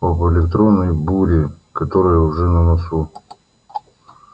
об электронной буре которая уже на носу